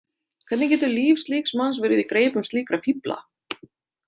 Hvernig getur líf slíks manns verið í greipum slíkra fífla?